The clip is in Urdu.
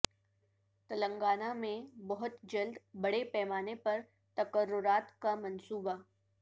تلنگانہ میں بہت جلد بڑے پیمانہ پر تقررات کا منصوبہ